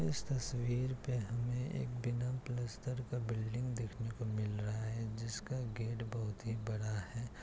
इस तस्वीर पे हमे एक बिना प्लस्तर का बिल्डिंग देखने को मिल रहा है जिसका गेट बहुत ही बड़ा है